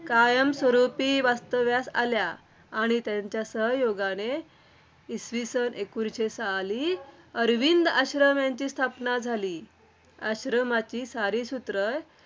कायमस्वरूपी वास्तव्यास आल्या. आणि त्यांच्या सहयोगाने इसवी सन एकोणीसशे साली अरविंद आश्रम याची स्थापना झाली. आश्रमाची सारी सूत्र